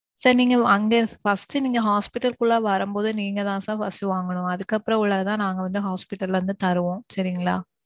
sir நீங்க அங்க first ட்டு நீங்க hospital க்கு உள்ள வரும்போது நீங்கதான் sir first வாங்கணும். அதுக்கு அப்பறம் உள்ளது தான் நாங்க வந்து hospital ல இருந்து தருவோம் சரிங்களா.